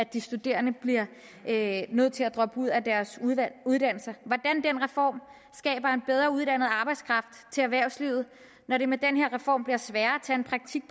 de studerende bliver nødt til at droppe ud af deres uddannelser skaber en bedre uddannet arbejdskraft til erhvervslivet når det med den her reform bliver sværere